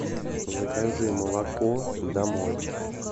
закажи молоко домой